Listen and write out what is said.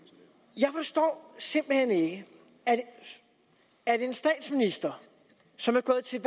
jeg forstår simpelt hen ikke at en statsminister som er gået til